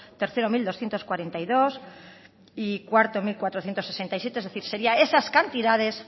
tercero mil doscientos cuarenta y dos y cuarto mil cuatrocientos sesenta y siete es decir sería esas cantidades